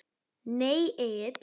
Nei Egill.